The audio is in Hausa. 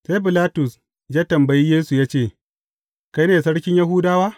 Sai Bilatus ya tambayi Yesu ya ce, Kai ne sarkin Yahudawa?